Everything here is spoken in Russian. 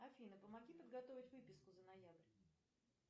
афина помоги подготовить выписку за ноябрь